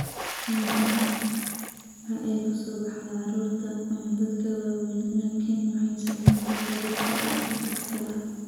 Caadi ahaan waxa ay ku soo baxdaa carruurta ama dadka waaweyn, laakiin waxay saamayn kartaa dadka da' kasta ah.